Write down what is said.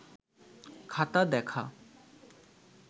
খাতা দেখা